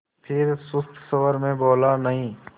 फिर सुस्त स्वर में बोला नहीं